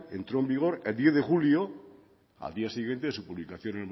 entró en vigor el diez de julio al día siguiente su publicación